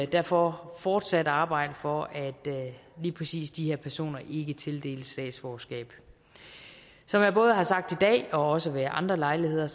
derfor fortsat arbejde for at lige præcis de her personer ikke tildeles statsborgerskab som jeg både har sagt i dag og også ved andre lejligheder